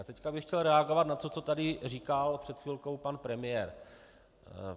A teď bych chtěl reagovat na to, co tady říkal před chvilkou pan premiér.